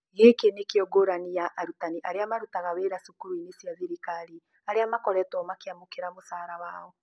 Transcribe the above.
Gĩkĩ nĩ kĩo ngũrani ya arutani arĩa marutaga wĩra cukuru-inĩ cia thirikari, arĩa makoretuo makĩamukera mũcara wao.